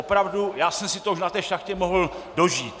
Opravdu já jsem si to už na té šachtě mohl dožít.